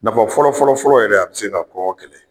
Nafa fɔlɔfɔlɔ fɔlɔ yɛrɛ, a bɛ se ka kɔngɔ kɛlɛ.